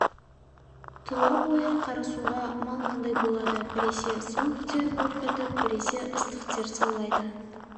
тұла бойы қарасуға малмандай болады біресе суық тер бұрқ етіп біресе ыстық тер саулайды